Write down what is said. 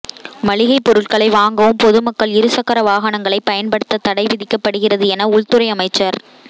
மளிகைப் பொருள்களை வாங்கவும் பொதுமக்கள் இருசக்கர வாகனங்களை பயன்படுத்த தடை விதிக்கப்படுகிறது என உள்துறை அமைச்சா்